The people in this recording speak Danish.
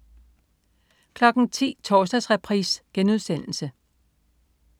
10.00 Torsdagsreprise*